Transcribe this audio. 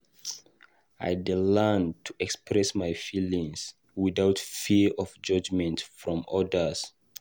I dey learn to express my feelings without fear of judgment from others.